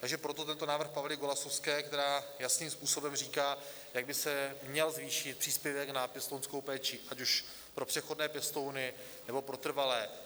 Takže proto tento návrh Pavly Golasowské, která jasným způsobem říká, jak by se měl zvýšit příspěvek na pěstounskou péči ať už pro přechodné pěstouny, nebo pro trvalé.